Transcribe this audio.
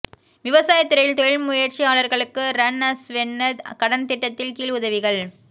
விவசாய துறையில் தொழில் முயற்சியாளர்களுக்கு ரன்அஸ்வென்ன கடன் திட்டத்தின் கீழ் உதவிகள்